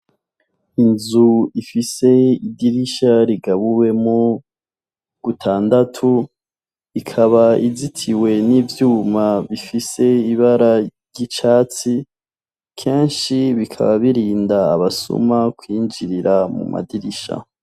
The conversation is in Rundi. Inzu ifise idirisha rigabuwemwo gutandatu, ikaba izitiwe n'ivyuma bifise ibara ry' icatsi keshi bikaba birinda abasuma kwinjira mu madirisha.